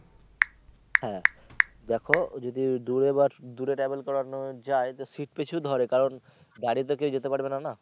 হ্যা দেখো যদি দূরে বা দূরে travel করানো যায় তো সিট প্রতিই ধরে কারণ দাড়িয়ে তো কেউ যেতে পারবে না।